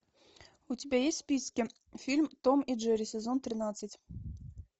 у тебя есть в списке фильм том и джерри сезон тринадцать